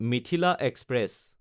Mithila express